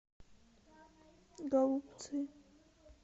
голубцы